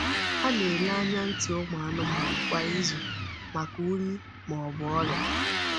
Ha na-ele anya ntị anụmanụ kwa izu maka unyi ma ọ bụ ọrịa.